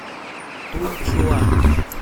тунчуань